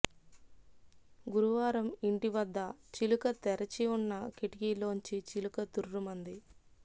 గురువారం ఇంటి వద్ద చిలుక తెరచి ఉన్న కిటికీలోంచి చిలుక తుర్రుమంది